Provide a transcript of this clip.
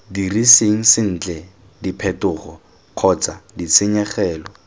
diriseng sentle diphetogo kgotsa ditshenyegelo